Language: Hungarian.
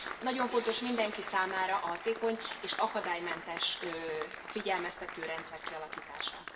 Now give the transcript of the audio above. Nagyon fontos mindenki számára a hatékony és akadálymentes figyelmeztető rendszer kialakítása.